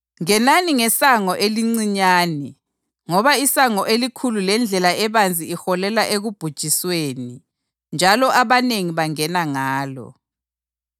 “Ngenani ngesango elincinyane ngoba isango elikhulu lendlela ebanzi iholela ekubhujisweni njalo abanengi bangena ngalo.